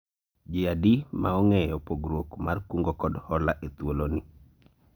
jii adi ma ong'eyo pogruok mar kungo kod hola e thuolo ni